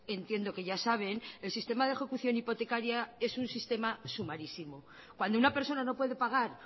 entiendo que ya saben el sistema de ejecución hipotecaria es un sistema sumarísimo cuando una persona no puede pagar